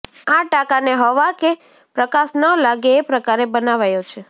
આ ટાંકાને હવા કે પ્રકાશ ન લાગે એ પ્રકારે બનાવાયો છે